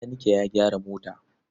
Makanike ya gyara mota.